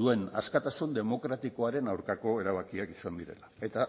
duen askatasun demokratikoaren aurkako erabakiak izan direla eta